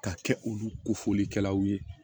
Ka kɛ olu kofɔlikɛlaw ye